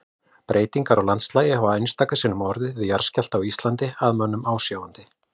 Breytingar á landslagi hafa einstöku sinnum orðið við jarðskjálfta á Íslandi að mönnum ásjáandi.